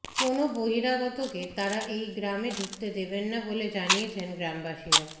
কোনও বহিরাগতকে তাঁরা এই গ্রামে ঢুকতে দেবেন না বলে জানিয়েছেন গ্রামবাসীরা